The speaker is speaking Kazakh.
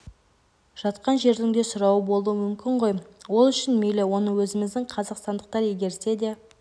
жатқан жердің де сұрауы болуы мүмкін ғой ол үшін мейлі оны өзіміздің қазақстандықтар игерсе де